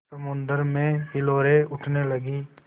समुद्र में हिलोरें उठने लगीं